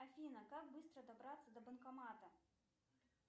афина как быстро добраться до банкомата